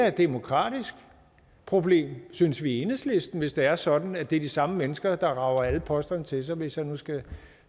et demokratisk problem synes vi i enhedslisten hvis det er sådan at det er de samme mennesker der rager alle posterne til sig hvis man skal